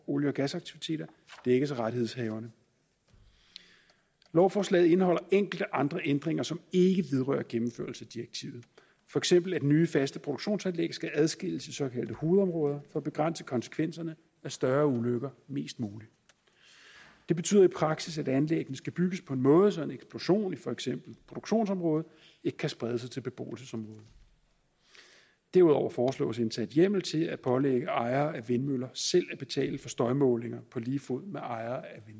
olie og gasaktiviteter dækkes af rettighedshaverne lovforslaget indeholder enkelte andre ændringer som ikke vedrører gennemførelse af direktivet for eksempel at nye faste produktionsanlæg skal adskilles i såkaldte hovedområder for at begrænse konsekvenserne af større ulykker mest muligt det betyder i praksis at anlæggene skal bygges på en måde så en eksplosion i for eksempel produktionsområdet ikke kan sprede sig til beboelsesområdet derudover foreslås indsat hjemmel til at pålægge ejere af vindmøller selv at betale for støjmålinger på lige fod med ejere af